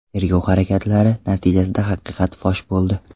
Tergov harakatlari natijasida haqiqat fosh bo‘ldi.